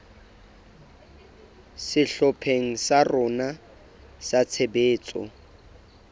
sehlopheng sa rona sa tshebetso